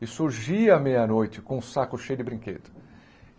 E surgia a meia-noite com o saco cheio de brinquedos.